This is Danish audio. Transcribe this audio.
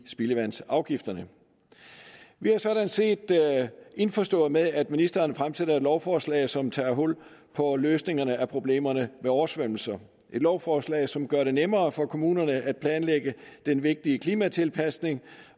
spildevandsafgifterne vi er sådan set indforståede med at ministeren fremsætter et lovforslag som tager hul på løsningerne af problemerne ved oversvømmelser det et lovforslag som gør det nemmere for kommunerne at planlægge den vigtige klimatilpasning